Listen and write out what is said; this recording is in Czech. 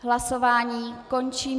Hlasování končím.